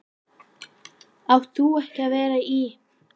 Átt þú ekki að vera í.-?